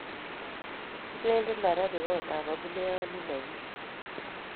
Kipoendi Nairobi kot ab abuleyanit nenyunet